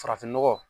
Farafin nɔgɔ